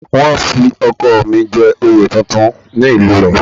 Wọ́n fi ọkọ̀ mi jẹ oyè tuntun ní ìlú ẹ̀